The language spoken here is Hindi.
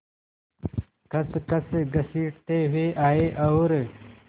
खसखस घसीटते हुए आए और